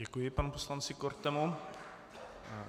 Děkuji panu poslanci Kortemu.